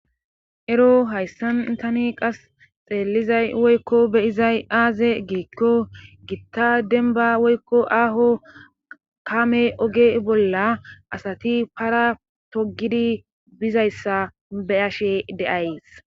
ero hayssan intani qas xeelizay woykko beyizay aaze giikko gitta denba woykko aaho kame oge bolla asati para togidi bizayssa beyashe deays